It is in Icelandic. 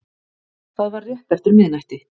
Það var rétt eftir miðnætti